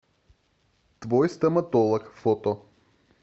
твой стоматолог фото